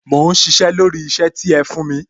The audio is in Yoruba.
Mò ń sisẹ́ lórí isẹ ti ẹ fún mi